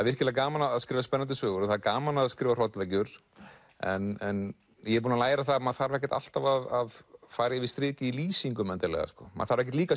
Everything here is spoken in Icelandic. virkilega gaman að skrifa spennandi sögur og það er gaman að skrifa hrollvekjur en ég er búinn að læra að maður þarf ekkert alltaf að fara yfir strikið í lýsingum endilega sko maður þarf ekkert líka